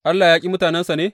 Allah ya ƙi mutanensa ne?